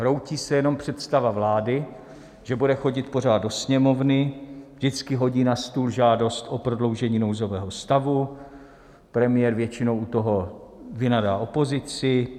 Hroutí se jenom představa vlády, že bude chodit pořád do Sněmovny, vždycky hodí na stůl žádost o prodloužení nouzového stavu, premiér většinou u toho vynadá opozici.